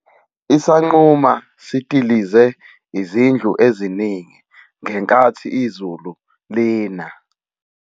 Isangquma sidilize izindlu eziningi ngenkathi izulu lina.